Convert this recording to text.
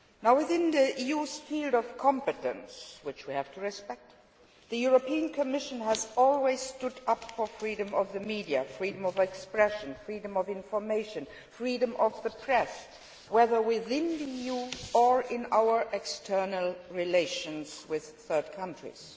Within the EU's sphere of competence, which we have to respect, the European Commission has always stood up for freedom of the media, freedom of expression, freedom of information and freedom of the press, whether within the EU or in our external relations with third countries.